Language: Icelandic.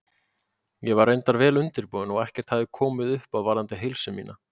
Ég var reyndar vel undirbúin og ekkert hafði komið upp á varðandi heilsu mína.